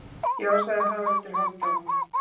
Já, sagði Haraldur Hálfdán.